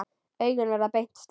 Augun verða beint strik.